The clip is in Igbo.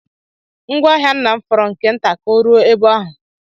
Ngwá ahịa nna m fọrọ nke nta ka o ruo ebe ahụ.